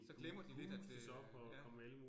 Så glemmer de lidt at øh ja